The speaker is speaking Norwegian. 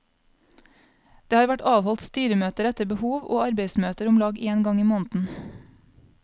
Det har vært avholdt styremøter etter behov, og arbeidsmøter omlag en gang i måneden.